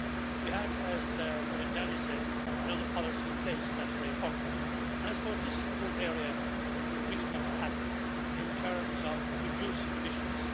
We have, as Miriam Dalli said, another policy in place, that's very important, and I suppose this is the one area that we really need to tackle in terms of reducing emissions.